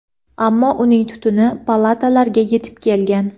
ammo uning tutuni palatalarga yetib kelgan.